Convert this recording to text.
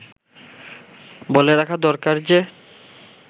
বলে রাখা দরকার যে